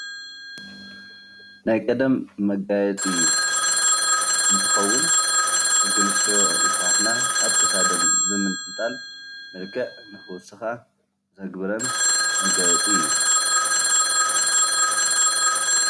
ናይ ቀደም መጋየፂ እንትከውን ደቂ አንስትዮ የሕዋትና ኣብ ክሳደን ብምንጥልጣል መልክዕ ንክውስካ ዘግብረን መጋየፂ እዩ፡፡